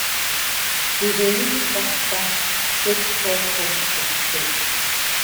we dey use sack bag take store corn for store.